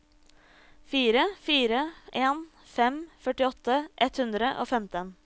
fire fire en fem førtiåtte ett hundre og femten